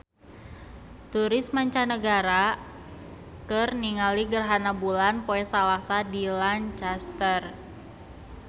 Turis mancanagara keur ningali gerhana bulan poe Salasa di Lancaster